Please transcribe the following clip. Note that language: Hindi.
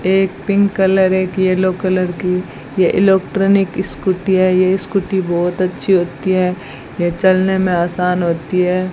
एक पिंक कलर एक येलो कलर की ये इलेक्ट्रॉनिक स्कूटी है ये स्कूटी बहोत अच्छी होती है यह चलने में आसान होती है।